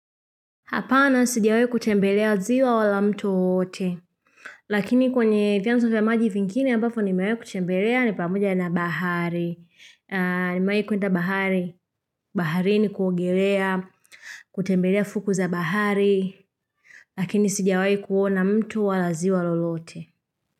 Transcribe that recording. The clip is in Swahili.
Hapana sijawahi kutembelea ziwa wala mto wowote. Lakini kwenye vyanzo vya maji vingine ambavyo nimewahi kutembelea ni pamoja na bahari. Nimewa kwenda bahari. Baharini kuogelea, kutembelea fuku za bahari. Lakini sijiwahi kuona mto wala ziwa lolote.